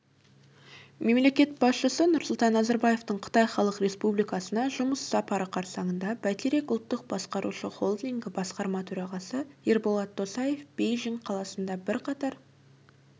мемлекет басшысы нұрсұлтан назарбаевтың қытай халық республикасына жұмыс сапары қарсаңында бәйтерек ұлттық басқарушы холдингі басқарма төрағасы ерболат досаев бейжің қаласында бірқатар